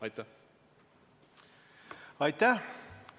Aitäh!